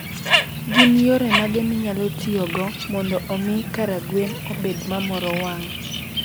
Gin yore mage minyalo tiyogo mondo omi karagwen obed ma moro wang?